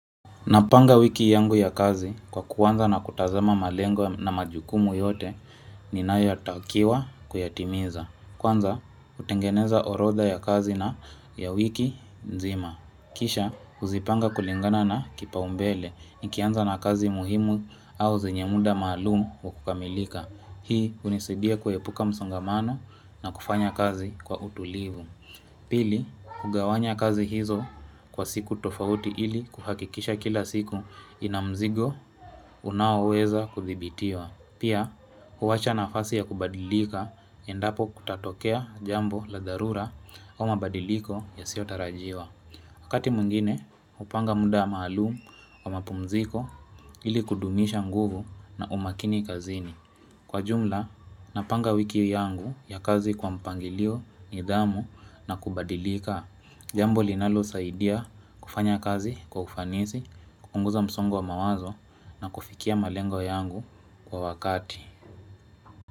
Napanga wiki yangu ya kazi kwa kuanza na kutazama malengo na majukumu yote ninayotakiwa kuyatimiza. Kwanza, hutengeneza orodha ya kazi na ya wiki nzima. Kisha, huzipanga kulingana na kipaumbele, nikianza na kazi muhimu au zenye muda maalum wa kukamilika. Hii, hunisaidia kuepuka msangamano na kufanya kazi kwa utulivu. Pili, hugawanya kazi hizo kwa siku tofauti ili kuhakikisha kila siku ina mzigo unaoweza kuthibitiwa. Pia, huwacha nafasi ya kubadilika endapo kutatokea jambo la dharura au mabadiliko yasiyotarajiwa. Wakati mwingine, hupanga muda maalum wa mapumziko ili kudumisha nguvu na umakini kazini. Kwa jumla, napanga wiki yangu ya kazi kwa mpangilio, nidhamu na kubadilika. Jambo linalosaidia kufanya kazi kwa ufanisi, kupunguza msongo wa mawazo na kufikia malengo yangu kwa wakati.